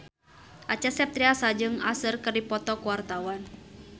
Acha Septriasa jeung Usher keur dipoto ku wartawan